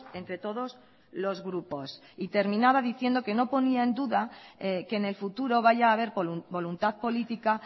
entre todos los grupos y terminaba diciendo que no ponía en duda que en el futuro vaya haber voluntad política